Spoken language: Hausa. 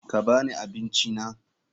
Ka ba ni abincina.